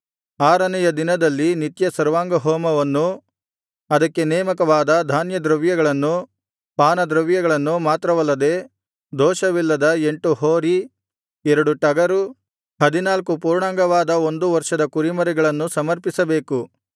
ಆರನೆಯ ದಿನದಲ್ಲಿ ನಿತ್ಯ ಸರ್ವಾಂಗಹೋಮವನ್ನೂ ಅದಕ್ಕೆ ನೇಮಕವಾದ ಧಾನ್ಯದ್ರವ್ಯಗಳನ್ನೂ ಪಾನದ್ರವ್ಯಗಳನ್ನೂ ಮಾತ್ರವಲ್ಲದೆ ದೋಷವಿಲ್ಲದ ಎಂಟು ಹೋರಿ ಎರಡು ಟಗರು ಹದಿನಾಲ್ಕು ಪೂರ್ಣಾಂಗವಾದ ಒಂದು ವರ್ಷದ ಕುರಿಮರಿಗಳನ್ನೂ ಸಮರ್ಪಿಸಬೇಕು